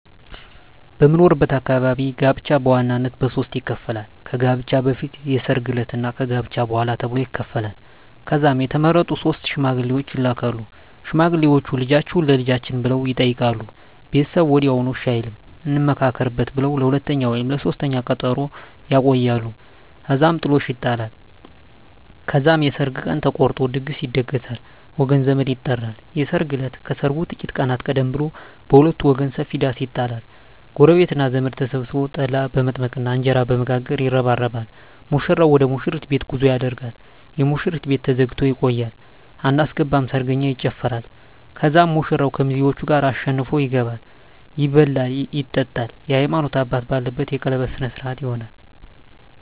በምኖርበት አካባቢ ጋብቻ በዋናነት በሦስት ይከፈላል። ከጋብቻ በፊት፣ የሰርግ ዕለት እና ከጋብቻ በኋላ ተብሎ ይከፈላል። ከዛም የተመረጡ ሶስት ሽማግሌዎች ይላካሉ። ሽማግሌዎቹ "ልጃችሁን ለልጃችን" ብለው ይጠይቃሉ። ቤተሰብ ወዲያውኑ እሺ አይልም፤ "እንመካከርበት" ብለው ለሁለተኛ ወይም ለሦስተኛ ቀጠሮ ያቆያሉ። እዛም ጥሎሽ ይጣላል። ከዛም የሰርግ ቀን ተቆርጦ ድግስ ይደገሳል፣ ወገን ዘመድ ይጠራል። የሰርግ እለት ከሰርጉ ጥቂት ቀናት ቀደም ብሎ በሁለቱም ወገን ሰፊ ዳስ ይጣላል። ጎረቤትና ዘመድ ተሰብስቦ ጠላ በመጥመቅና እንጀራ በመጋገር ይረባረባል። ሙሽራው ወደ ሙሽሪት ቤት ጉዞ ያደርጋል። የሙሽሪት ቤት ተዘግቶ ይቆያል። አናስገባም ሰርገኛ ይጨፋራል። ከዛም ሙሽራው ከሚዜዎቹ ጋር አሸንፎ ይገባል። ይበላል ይጠጣል፣ የሀይማኖት አባት ባለበት የቀለበት ስነ ስሮአት ይሆናል